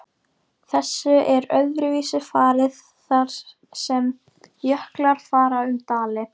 Þessu er öðruvísi farið þar sem jöklar fara um dali.